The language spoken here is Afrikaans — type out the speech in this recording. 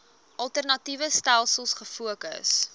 alternatiewe stelsels gefokus